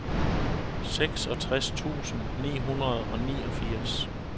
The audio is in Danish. seksogtres tusind ni hundrede og niogfirs